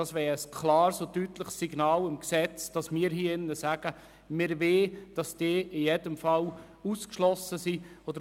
Dies wäre ein klares und deutliches Signal, dass wir die Verkehrskadetten in jedem Fall von der Bewilligungspflicht ausschliessen wollen.